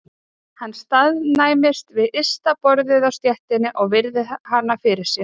Hann staðnæmist við ysta borðið á stéttinni og virðir hana fyrir sér.